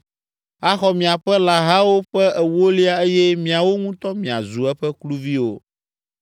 Axɔ miaƒe lãhawo ƒe ewolia eye miawo ŋutɔ miazu eƒe kluviwo.